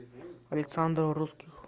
александр русских